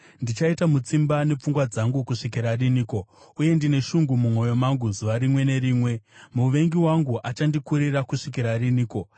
Ndichaita mutsimba nepfungwa dzangu kusvikira riniko, uye ndine shungu mumwoyo mangu zuva rimwe nerimwe? Muvengi wangu achandikurira kusvikira riniko?